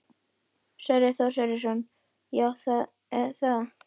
Sverrir Þór Sverrisson: Já, er það?